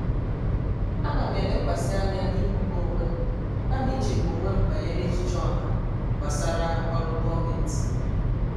ana m elekwasị anya n’ịmụba onwe m kama ichegbu onwe m banyere echiche ọha gbasara ọrụ gọọmentị.